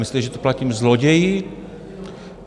Myslíte, že to platím zloději?